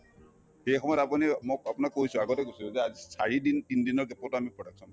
এই সময়ত আপুনি মোক আপোনাক কৈছো আগতে কৈছো যে চাৰিদিন তিনদিনৰ gap ত আমি production